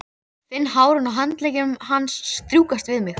Finn hárin á handleggjum hans strjúkast við mig.